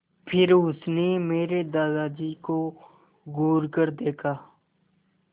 फिर उसने मेरे दादाजी को घूरकर देखा